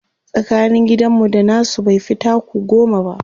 tsakanin gidan mu da nasu baifi taku goma ba